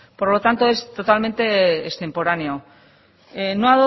por lo tanto es totalmente extemporáneo no